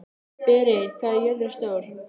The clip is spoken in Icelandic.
Berit, hvað er jörðin stór?